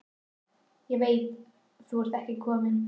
Ég veit þú ert ekki kominn.